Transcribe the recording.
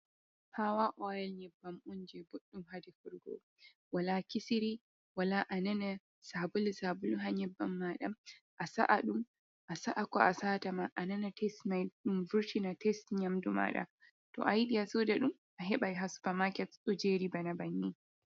Pawa oyal, nyibbam'unji buɗɗun ha defirgo, wala kisiri, wala anana sabulu sabulu ha nyibban maɗam, a sa’adun a sa'ako a satama anana tast mai, ɗun vurtina tast nyamdu maɗa, to ayiɗi a suda ɗun a hebai ha sufa maket ɗo jeri bana banni.